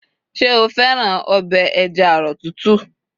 ṣe o fẹràn obe eja arọ tútù